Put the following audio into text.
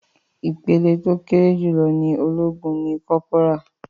Ìpele tó kéré jùlọ ní ológun ní kọ́pórà.